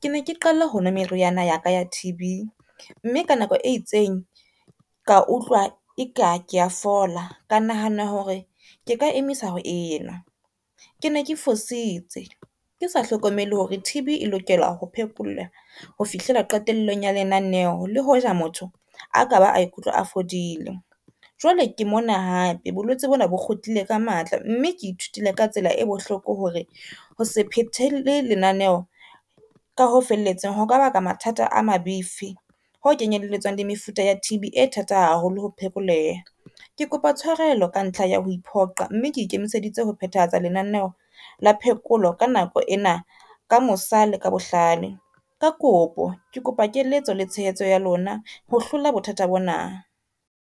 Ke ne ke qala ho nwa meriana ya ka ya T_B, mme ka nako e itseng ka utlwa e ka ke a fola ka nahana hore ke ka emisa ho e nwa. Ke ne ke fositse ke sa hlokomele hore T_B e lokela ho phekolwa ho fihlela qetellong ya lenaneho. Le hoja motho a ka ba a ikutlwa a fodile, jwale ke mona hape, bolwetse bona bo kgutlile ka matla mme ke ithutile ka tsela e bohloko hore ho se phethele lenaneho, ka ho felletseng ho ka baka mathata a mabifi ho kenyelletsang le mefuta ya T_B e thata haholo ho phekoleha. Ke kopa tshwarelo ka ntlha ya ho iphoqa mme ke ikemiseditse ho phethahatsa lenaneho la phekolo ka nako ena, ka mosa le ka bohlale, ka kopo ke kopa keletso le tshehetso ya lona ho hlola bothata bo na.